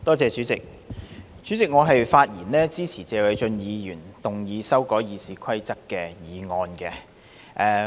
代理主席，我發言支持謝偉俊議員動議修改《議事規則》的議案。